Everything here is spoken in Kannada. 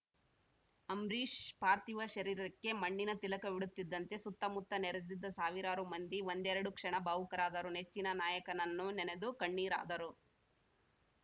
ಅಂಬರೀಷ್‌ ಪಾರ್ಥಿವ ಶರೀರಕ್ಕೆ ಮಣ್ಣಿನ ತಿಲಕವಿಡುತ್ತಿದ್ದಂತೆ ಸುತ್ತಮುತ್ತ ನೆರೆದಿದ್ದ ಸಾವಿರಾರು ಮಂದಿ ಒಂದರೆಕ್ಷಣ ಭಾವುಕರಾದರು ನೆಚ್ಚಿನ ನಾಯಕನನ್ನು ನೆನೆದು ಕಣ್ಣೀರಾದರು